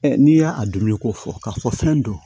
n'i y'a a dumuni ko fɔ k'a fɔ fɛn don